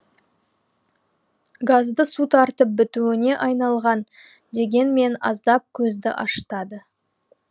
газды су тартып бітуге айналған дегенмен аздап көзді ашытады